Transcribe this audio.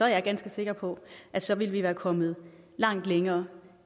jeg ganske sikker på at så ville vi være kommet langt længere